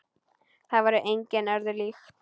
Það er engu öðru líkt.